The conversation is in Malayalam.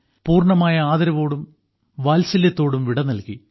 പൂർണ്ണമായ ആദരവോടെയും വാത്സല്യത്തോടെയും വിട നൽകി